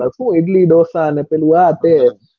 હું ઈડલી ઢોસા ને પેલું આતે.